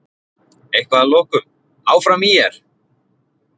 Eitthvað að lokum: Áfram ÍR!!